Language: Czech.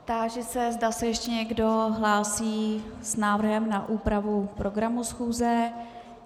Táži se, zda se ještě někdo hlásí s návrhem na úpravu programu schůze.